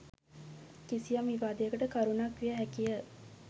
කිසියම් විවාදයකට කරුණක් විය හැකි ය